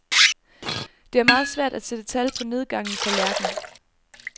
Det er meget svært at sætte tal på nedgangen for lærken.